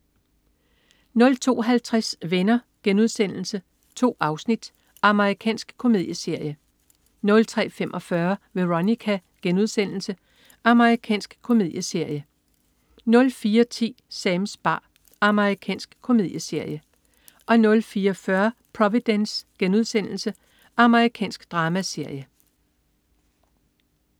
02.50 Venner.* 2 afsnit. Amerikansk komedieserie 03.45 Veronica.* Amerikansk komedieserie 04.10 Sams bar. Amerikansk komedieserie 04.40 Providence.* Amerikansk dramaserie